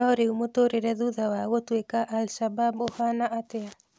No rĩu mũtũrĩre thutha wa gũtuĩka Al shabab ũhana atĩa?